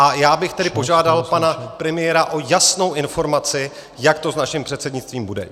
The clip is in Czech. A já bych tedy požádal pana premiéra o jasnou informaci, jak to s naším předsednictvím bude.